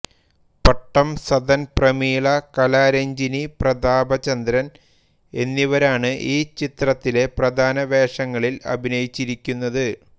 പട്ടം സദൻ പ്രമീള കലാരഞ്ജിനി പ്രതാപചന്ദ്രൻ എന്നിവരാണ് ഈ ചിത്രത്തിലെ പ്രധാന വേഷങ്ങളിൽ അഭിനയിച്ചിരിക്കുന്നത്